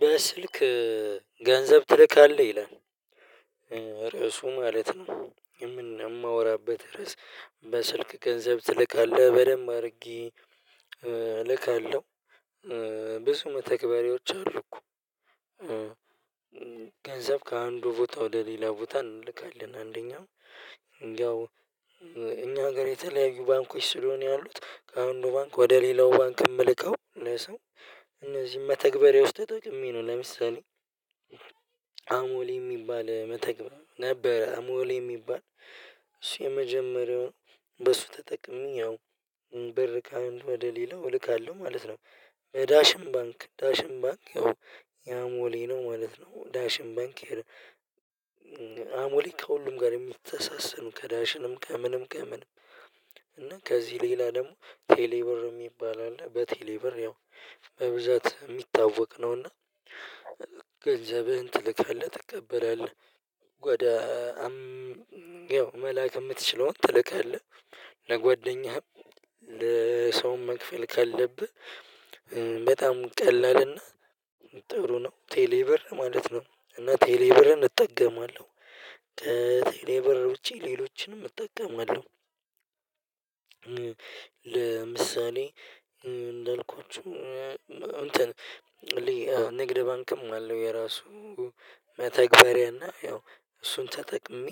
በስልክ ገንዘብ ትልካለ ይላል። ርዕሱ ማለት ነው። ማወራበት ርዕስ በስልክ ገንዘብ ትልካለ በደንብ አርጌ እልካለው። ብዙ መተግበሪያውች አሉኮ ገንዘብ ከአንዱ ቦታ ወደ ሌላ ቦታ እንልካለን። አንደኛው ያው እኛ ሀገር የተለያዩ ባንኮች ስለሆኑ ያሉት ከአንዱ ባንክ ወደ ሌላው ባንክ ምልከው ለሰው እነዚም መተግበሪያዎች ተጠቅሜ ነው። ለምሳሌ አሞሌ ሚባል መተግበር ነበረ። አሞሌ ሚባል እሱ የመጀመሪያው በሱ ተጠቅሜ ያው ብር ከአንዱ ወደሌላው እልካለው ማለት ነው። በዳሽን ባንክ ዳሽን ባንክ ያው ያሞሌ ነው ማለት ነው ዳሽን ባንክ። አሞሌ ከሁሉም ጋር የሚተሳሰሩ ከዳሽንም ከምንም ከምንም እና ከዚ ሌላ ደሞ ቴሌ ብር ሚባል አለ። በቴሌ ብር ያው በብዛት ሚታወቅ ነውና ገንዘብህን ትልካለህ ትቀበላለህ። ወደ ያው መላክ ምትችለውን ትልካለህ ለጓደኛህም ለሰውም መክፈል ካለብህ በጣም ቀላልና ጥሩ ነው። ቴሌብር ማለት ነው እና ቴሌብርን እጠቀማለው ቴሌብር ውጪ ሌሎችንም እጠቀማለው። ለምሳሌ እንዳልኳችሁ እንትን ንግድ ባንክም አለው የራሱ መተግበሪያና ያው እሱን ተጠቅሜ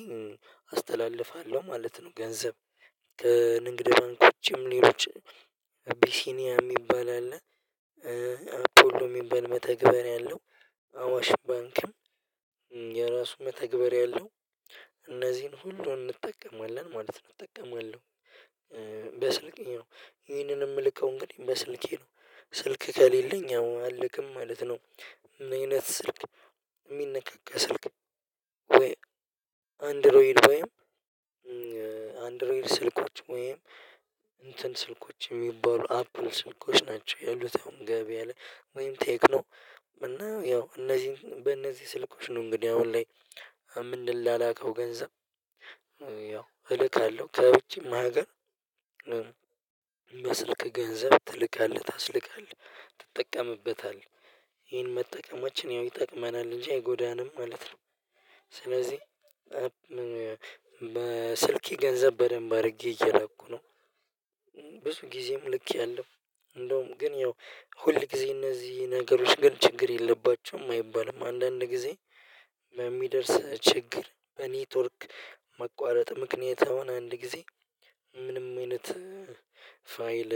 አስተላልፋለው ማለት ነው። ገንዘብ ከንግድ ባንክ ውጪም ሌሎች አቢሲኒያ ሚባል አለ። አፖሎ ሚባል መተግበር አለው አዋሽ ባንክም የራሱ መተግበር ያለው። እነዚን ሁሉ እንጠቀማለን ማለት እጠቀማለው በስልኬ ነው ይህንን ምልከው እንግዲህ በስልኬ ነው ስልክ ከሌለኝ ያው አልክም ማለት ነው። ምን አይነት ስልክ ሚነካካ ስልክ ወይም አንድሮይድ ወይም አንድሮይድ ስልኮች ወይም እንትን ስልኮች ሚባሉ አፕል ስልኮች ናቸው። ያሉት አሁን ገበያ ላይ ወይም ቴክኖ እና ያው እነዚን በእነዚ ስልኮች ነው እንግዲ አሁን ላይ ምንላላከው ገንዘብ ያው እልካለው ከውጪም ሀገር በስልክ ገንዘብ ትልካለህ ታስልካለህ ትጠቀምበታለህ ይህን መጠቀማችን ያው ይጠቅመናል እንጂ አይጎዳንም ማለት ነው። ስለዚ በስልኬ ገንዘብ በደንብ አርጌ እየላኩ ነው። ብዙ ጊዜም ልኬያለሁ እንደውም ግን ያው ሁል ጊዜ እነዚ ነገሮች ግን ችግር የለባቸውም አይባልም አንዳንድ ጊዜ በሚደርስ ችግር በኔትወርክ መቋረጥ ምክንያት አሁን አንድ ጊዜ ምንም አይነት ፋይል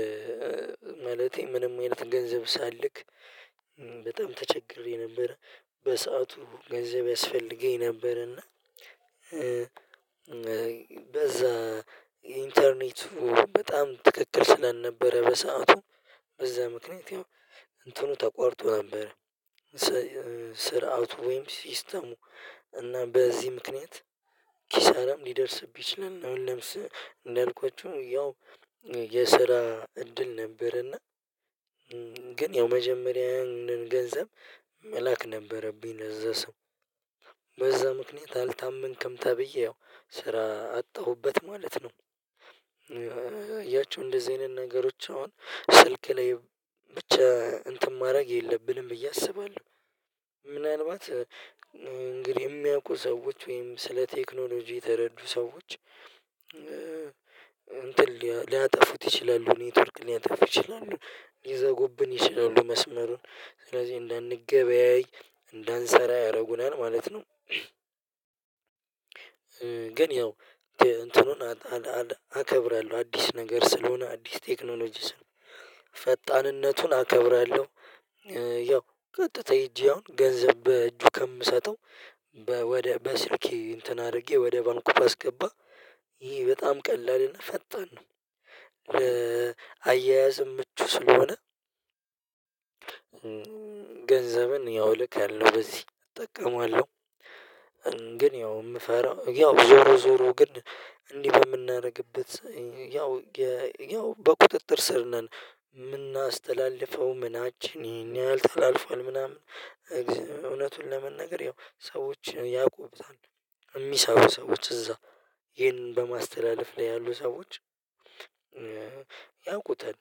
ማለቴ ምንም አይነት ገንዘብ ሳልክ በጣም ተቸግሬ ነበር። በሰአቱ ገንዘብ ያስፈልገኝ ነበርና በዛ ኢንተርኔቱ በጣም ትክክል ስለነበረ በሰአቱ በዛ ምክንያት ያው እንትኑ ተቋርጦ ነበር። ስርዓቱ ወይም ሲስተሙ እና በዚ ምክንያት ኪሳራም ሊደርስብህ ይችላል። አሁን ለምሳ እንዳልኳችሁ ያው የስራ እድል ነበርና ግን ያው መጀመሪያ ያንን ገንዘብ መላክ ነበረብኝ ለዛ ሰው በዛ ምክንያት አልታመንክም ተብዬ ያው ስራ አጣሁበት ማለት ነው። አያችሁ እንደዚ አይነት ነገሮች አሁን ስልክ ላይ ብቻ እንትን ማረግ የለብንም ብዬ አስባለው። ምናልባት እንግዲህ የሚያውቁ ሰዎች ወይም ስለ ቴክኖሎጂ የተረዱ ሰዎች እንትን ሊያጠፉት ይችላሉ ኔትወርክ ሊያጠፉ ይችላሉ ሊዘጉብን ይችላሉ መስመሩን ስለዚ እንዳንገበያይ እንዳንሰራ ያረጉናል ማለት ነው። ግን ያው እንትኑን አከብራለው አዲስ ነገር ስለሆነ አዲስ ቴክኖሎጂ ስለሆነ ፈጣንነቱን አከብራለው ያው ቀጥታ ሄጄ አሁን ገንዘብ በእጁ ከምሰጠው ወደ በስልኬ እንትን አርጌ ወደ ባንኩ ባስገባ ይሄ በጣም ቀላልና ፈጣን ነው። ለአያያዝም ምቹ ስለሆነ ገንዘብን ያው ልካለው በዚህ እጠቀመዋለው። ግን ያው ምፈራው ያው ዞሮ ዞሮ ግን እንዲ በምናረግበት ያው በቁጥጥር ስር ነን። ምናስተላልፈው ምናችን ይሄን ያህል ተላልፏል ምናምን እውነቱን ለመናገር ያው ሰዎችን ያውቁታል ሚሰሩ ሰዎች እዛ ይሄንን በማስተላለፍ ላይ ያሉ ሰዎች ያውቁታል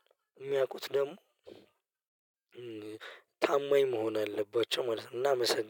ሚያውቁት ደሞ ታማኝ መሆን አለባቸው ማለት ነው። እናመሰግናለን